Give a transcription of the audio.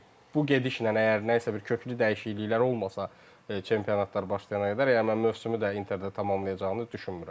Bu gedişlə, əgər nəsə bir köklü dəyişikliklər olmasa çempionatlar başlayana qədər, yəni mən mövsümü də Interdə tamamlayacağını düşünmürəm.